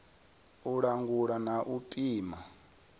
u langula na u pima